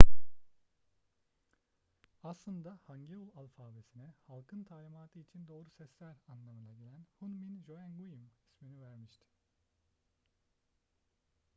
aslında hangeul alfabesine halkın talimatı için doğru sesler anlamına gelen hunmin jeongeum ismini vermişti